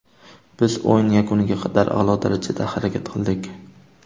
Biz o‘yin yakuniga qadar a’lo darajada harakat qildik.